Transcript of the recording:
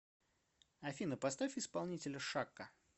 афина поставь исполнителя шакка